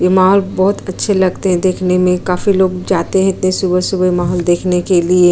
ये माहौल बहोत अच्छे लगते है देखने में काफी लोग जाते है इतने सुबह-सुबह माहौल देखने के लिए।